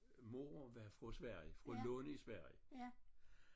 Mor var fra Sverige fra Lund i Sverige